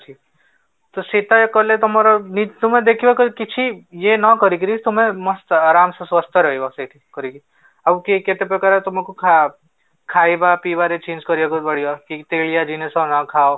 ତ ସେଟା କଲେ ତମର ତୁମେ ଦେଖିବ କିଛି ଇଏ ନ କରିକି ତୁମେ ମସ୍ତ ଆରମ ସେ ସ୍ଵସ୍ଥ ରହିବ କରିକି ଆଉ କିଏ କେତେ ପ୍ରକାର ଖା ଖାଇବା ପିଇବା ରେ change କରିବାକୁ ପଡିବ ତେଲିଆ ଜିନିଷ ନ ଖାଅ